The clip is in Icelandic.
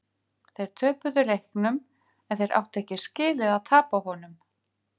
Þeir töpuðu leiknum en þeir áttu ekki skilið að tapa honum.